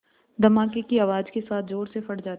धमाके की आवाज़ के साथ ज़ोर से फट जाती है